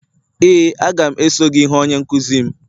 ee, a ga m eso gị hụ onye nkuzi m.